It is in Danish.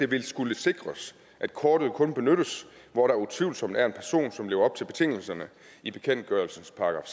ville skulle sikres at kortet kun benyttes i hvor der utvivlsomt er en person som lever op til betingelserne i bekendtgørelsens §